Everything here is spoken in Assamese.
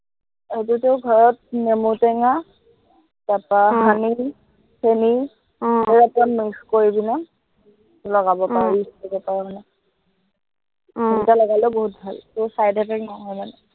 সেইতো তই ঘৰত নেমুটেঙা, তাৰপৰা আহ honey চেনি আহ অকন অকন mix কৰি কিনে, লগাব পাৰ use কৰিব পাৰ মানে। আহ সেনেকে লগালেও বহুত ভাল, কোনো side effect নহয় মানে।